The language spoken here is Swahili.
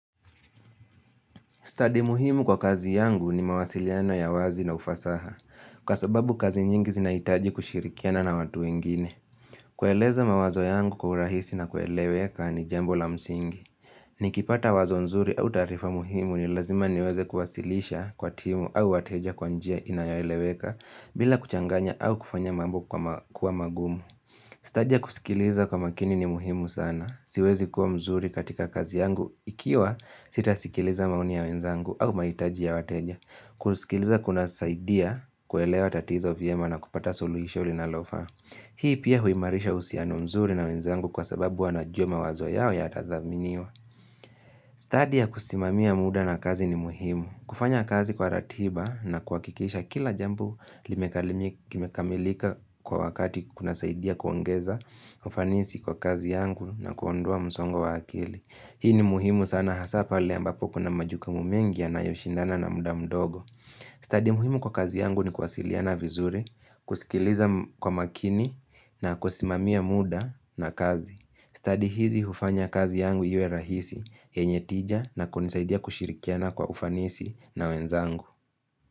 Stadi muhimu kwa kazi yangu ni mawasiliano ya wazi na ufasaha, kwa sababu kazi nyingi zinaitaji kushirikiana na watu wengine. Kueleza mawazo yangu kwa urahisi na kueleweka ni jambo la msingi. Ni kipata wazo nzuri au taarifa muhimu ni lazima niweze kuwasilisha kwa timu au wateja kwanjia inayoeleweka bila kuchanganya au kufanya mambo kwama kuwa magumu. Stadi ya kusikiliza kwa makini ni muhimu sana. Siwezi kuwa mzuri katika kazi yangu Ikiwa sitasikiliza maoni ya wenzangu au maitaji ya wateja kusikiliza kuna saidia kuelewa tatizo vyema na kupata suluisho linalofaa Hii pia huimarisha husiano mzuri na wenzangu Kwa sababu wanajua mawazo yao yatathaminiwa Stadi ya kusimamia muda na kazi ni muhimu kufanya kazi kwa ratiba na kuakikisha kila jambo Limekalimi kime kamilika Kwa wakati kuna saidia kuongeza ufanisi kwa kazi yangu na kuondoa msongo wa akili Hii ni muhimu sana hasa pale ambapo kuna majukumu mengi yanayoshindana na muda mdogo Stadi muhimu kwa kazi yangu ni kuwasiliana vizuri kusikiliza kwa makini na kusimamia muda na kazi Stadi hizi hufanya kazi yangu iwe rahisi yenyetija na kunisaidia kushirikiana kwa ufanisi na wenzangu.